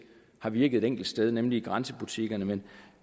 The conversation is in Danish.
har virket et enkelt sted nemlig i grænsebutikkerne men